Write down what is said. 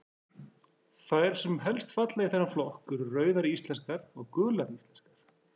Þær sem helst falla í þennan flokk eru Rauðar íslenskar og Gular íslenskar.